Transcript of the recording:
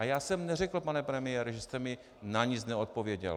A já jsem neřekl, pane premiére, že jste mi na nic neodpověděl.